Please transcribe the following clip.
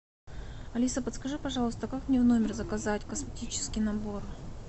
алиса подскажи пожалуйста как мне в номер заказать косметический набор